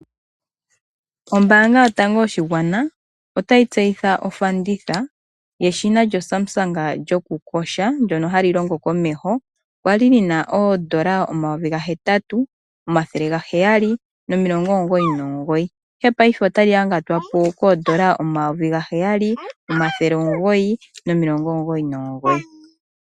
Ombanga yotango yopashigwana otayi tseyitha ofanditha yeshina lyo Samsung lyoku kosha, ndyoka hali longo komeho. Okwali lina N$8,799 ashike paife otali yangatwapo wala N$7,999.